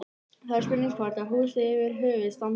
Það er spurning hvort að húsið yfir höfuð standi?